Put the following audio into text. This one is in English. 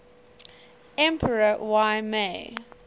emperor y mei